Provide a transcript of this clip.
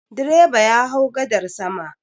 Direba ya hau gadar sama.